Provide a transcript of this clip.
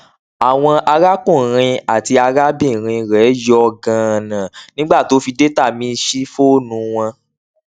àwọn arákùnrin àti arábìnrin rẹ yọ ganan nígbà tó fi data míì sí fọọnù wọn